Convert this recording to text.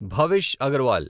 Bhavish Agarwal